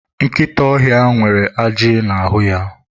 Nkịta ọhịa nwere ajị n'ahụ ya.